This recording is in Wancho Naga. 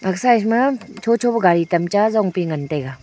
aga side ma cho cho pe gari tamta zong pi ngan taiga.